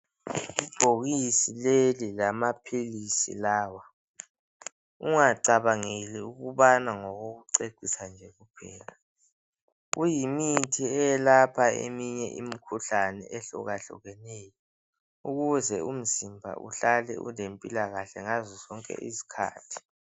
Ibhokisi leli ngelamaphisi lawa ungacabangeli ukubana ngokokucecisa nje kuphela kuyimithi eyalapha eminye imkhuhlane ehlukahlukeneyo ukuze umzimba uhlale ulempila kahle ngazo zonke izikhathi.